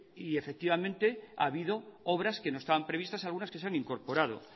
y efectivamente ha habido obras que no estaban previstas algunas que se han incorporado